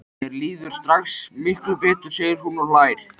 Mér líður strax miklu betur, segir hún og hlær.